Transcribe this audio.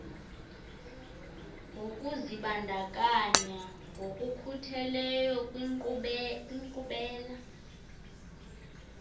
nokuzibandakanya ngokukhutheleyo kwinkqubela